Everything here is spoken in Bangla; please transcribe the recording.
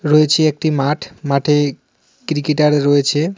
রয়েছে একটি মাঠ মাঠে ক্রিকেটার রয়েছে.